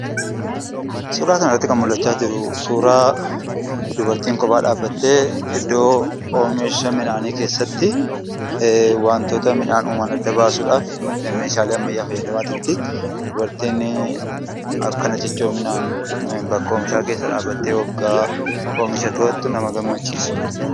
Suuraa kanarratti kan argamu suuraa dubartiin kophaa dhaabbattee iddoo oomisha midhaanii keessatti wantoota midhaan huban adda baasuudhaaf mala ammayyaa fayyadamaa jirti. Dubartiin akkana cichoominaan bakka oomishaa keessa dhaabbattee oomisha to'attu nama gammachiisa.